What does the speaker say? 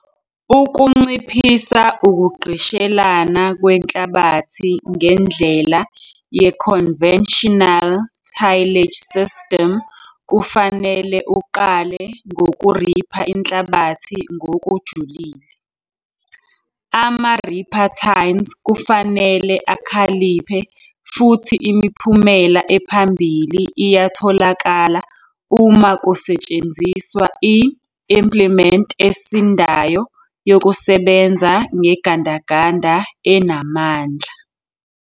Ukunciphisa ukugqishelana kwenhlabathi ngendlela ye-conventional tillage system kufanele uqale ngokuripha inhlabathi ngokujulile. Ama-ripper tines kufanele akhaliphe futhi imiphumela ephambili iyatholakala uma kusetshenziswa i-implement esindayo yokusebenza ngegandaganda enamandla.